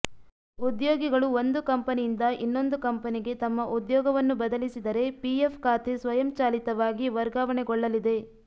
ಉದ್ಯೋಗಿಗಳು ಒಂದು ಕಂಪನಿಯಿಂದ ಇನ್ನೊಂದು ಕಂಪನಿಗೆ ತಮ್ಮ ಉದ್ಯೋಗವನ್ನು ಬದಲಿಸಿದರೆ ಪಿಎಫ್ ಖಾತೆ ಸ್ವಯಂ ಚಾಲಿತವಾಗಿ ವರ್ಗಾವಣೆಗೊಳ್ಳಲಿದೆ